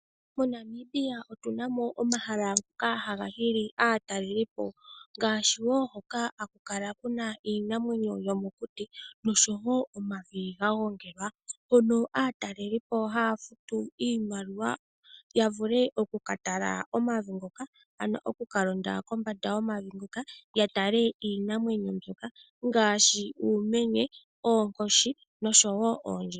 Monamibia otunamo omahala ngoka haga hili aataleli ngaashi woo hoka haku kala kuna iinamwenyo yomokuti noshowo omavi ga gongelwa mono aatalelipo haya futu iimaliwa yavule oku katala omavi ngoka ,ano oku ka londa komavi ngoka yatale iinamwenyo mbyoka ngaashi uumenye, oonkoshi noshowo oondjima .